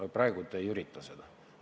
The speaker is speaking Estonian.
Aga praegu te isegi ei ürita seda.